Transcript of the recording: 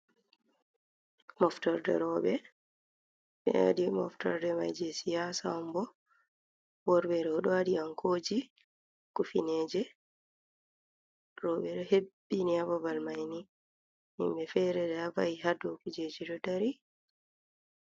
Moftorde rooɓe, ɓe waɗi moftorde mai je siyasa on bo, worɓe ɗo ɗo waɗi ankoji kufineje, rooɓe ɗo hebbini ha babal mai ni, himɓe feere ɗo va'i ha dou kujeji ɗo dari.